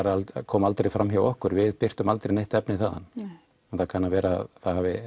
það kom aldrei fram hjá okkur og við birtum aldrei neitt efni þaðan en það kann að vera að það hafi